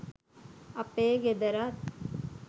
අපේ ගෙදරත්